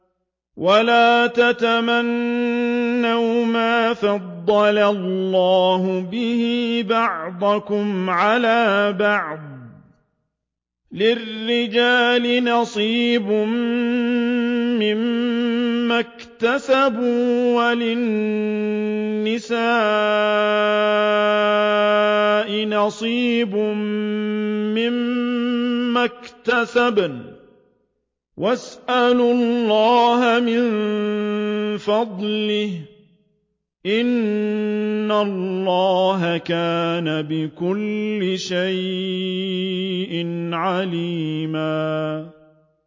وَلَا تَتَمَنَّوْا مَا فَضَّلَ اللَّهُ بِهِ بَعْضَكُمْ عَلَىٰ بَعْضٍ ۚ لِّلرِّجَالِ نَصِيبٌ مِّمَّا اكْتَسَبُوا ۖ وَلِلنِّسَاءِ نَصِيبٌ مِّمَّا اكْتَسَبْنَ ۚ وَاسْأَلُوا اللَّهَ مِن فَضْلِهِ ۗ إِنَّ اللَّهَ كَانَ بِكُلِّ شَيْءٍ عَلِيمًا